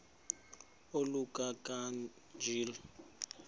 oluka ka njl